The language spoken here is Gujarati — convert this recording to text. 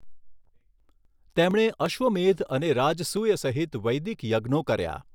તેમણે અશ્વમેધ અને રાજસૂય સહિત વૈદિક યજ્ઞો કર્યા.